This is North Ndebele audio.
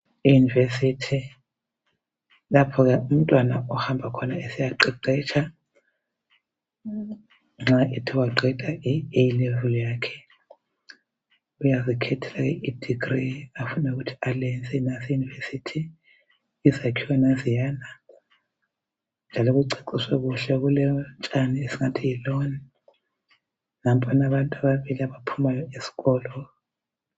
iunivesithi yilapha umntwana ahamba khona esiya qeqetsha nxa ethewa qeda iAlevel yakhe uyakhetha idegree ayabe efuna ukuthi aliyenze eunivesithi izakhiwo nanziyana njalo kuceciswe kuhle kolotshani esingathi yiloni njalo kulabantu ababili abaphuma esikolo.